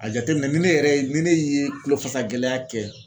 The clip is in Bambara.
A jateminɛ ni ne yɛrɛ ni ne ye kulo fasa gɛlɛya kɛ